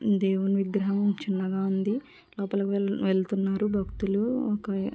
దేవుని విగ్రహం చిన్నగా ఉంది. లోపలకు వెళ్ వెళ్తున్నారు భక్తులు ఒక --